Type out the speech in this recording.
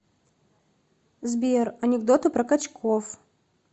сбер анекдоты про качков